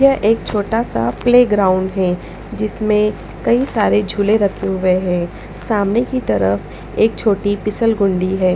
यह एक छोटा सा प्लेग्राउंड है जिसमें कई सारे झूले रखे हुए हैं सामने की तरफ एक छोटी पिसल गुंदी है।